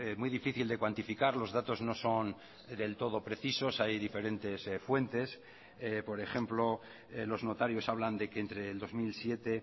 muy difícil de cuantificar los datos no son del todo precisos hay diferentes fuentes por ejemplo los notarios hablan de que entre el dos mil siete